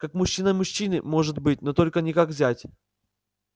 как мужчина мужчине может быть но только не как зять